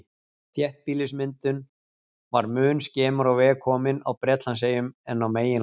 Þéttbýlismyndun var mun skemur á veg komin á Bretlandseyjum en á meginlandinu.